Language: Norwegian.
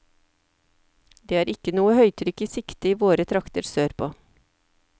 Det er ikke noe høytrykk i sikte i våre trakter sørpå.